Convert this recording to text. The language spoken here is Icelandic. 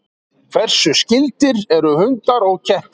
Hversu skyldir eru hundar og kettir?